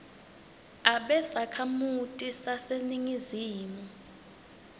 abe sakhamuti saseningizimu